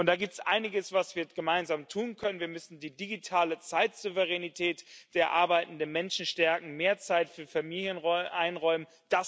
Und da gibt es einiges, was wir gemeinsam tun können Wir müssen die digitale Zeitsouveränität der arbeitenden Menschen stärken, mehr Zeit für Familien einräumen